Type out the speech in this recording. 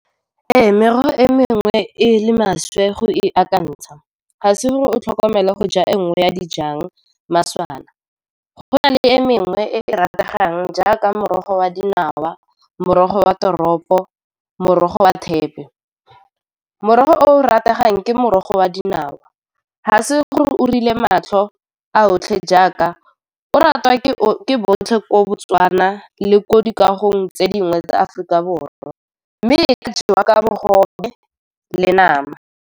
Ee, merogo e mengwe e le maswe go e akantsha ga se gore o tlhokomela go ja e nngwe ya dijang maswana. Go na le e mengwe e e rategang jaaka morogo wa dinawa, morogo wa toropo, morogo wa thepe. Morogo o rategang ke morogo wa dinawa, ga se gore o dirile matlho a otlhe, jaaka o ratwa ke botlhe ko Botswana le ko dikagong tse dingwe tsa Aforika Borwa, mme e ka jewa ka bogobe le nama.